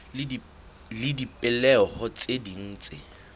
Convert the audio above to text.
le dipehelo tse ding tse